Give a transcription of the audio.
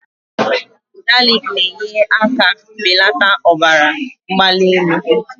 Galiki na-enyere aka belata ọbara mgbali elu